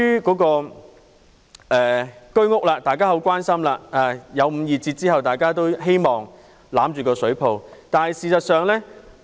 居屋售價作出了五二折的調整後，大家都希望抱着這個救生圈。